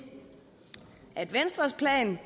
at venstres plan